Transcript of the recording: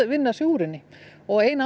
vinna sig úr henni og ein